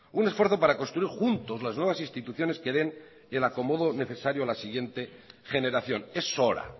un esfuerzo para construir juntos las nuevas instituciones que den al acomodo necesario a la siguiente generación es hora